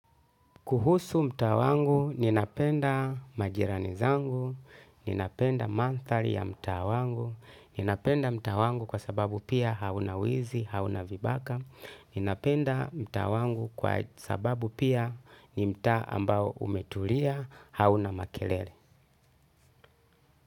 Kuhusu mtaa wangu, ninapenda majirani zangu, ninapenda manthali ya mta wangu, ninapenda mta wangu kwa sababu pia hauna wizi, hauna vibaka, ninapenda mtaa wangu kwa sababu pia nimta ambao umetulia, hauna makelele.